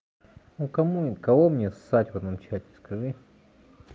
ну кому кого мне ссать в одном чате скажи